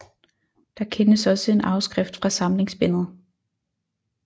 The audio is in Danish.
Der kendes også en afskrift af samlingsbindet